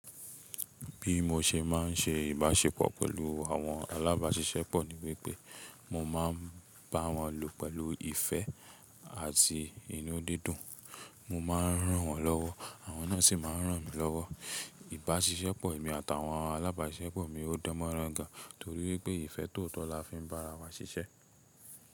Bí mo ṣe má n se ìbáṣepọ̀ pẹ̀lú àwọn alábáṣiṣẹ́pọ̀ ni wípé, mo má a ń bá wọn lù pẹ̀lú ìfẹ́ àti inú dídùn. Mo ma n ràn wọ́n lọ́wọ́, àwọn náà sì ma n ràn mi lọ́wọ́. Ìbásiseṣepọ̀ èmi àtàwọn alábáṣiṣẹ́pọ̀ mi ò dánmọ́rán gan torí wípé ìfẹ́ tòótọ́ la fi ń bá ara wa ṣiṣẹ́.